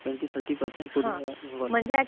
Twenty-thirty percent coding involve असतात का?